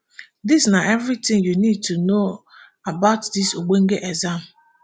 dis na eviritin you need to know about dis ogbonge exam